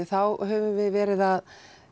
þá höfum við verið að